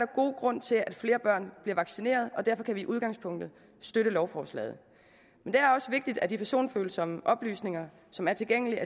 god grund til at flere børn bliver vaccineret og derfor kan vi i udgangspunktet støtte lovforslaget men det er også vigtigt at de personfølsomme oplysninger som er tilgængelige